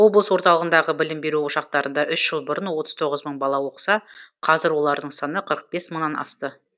облыс орталығындағы білім беру ошақтарында үш жыл бұрын отыз тоғыз мың бала оқыса қазір олардың саны қырық бес мыңнан асты